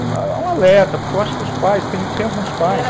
Há um alerta, porque eu acho que os pais, tem alguns pais...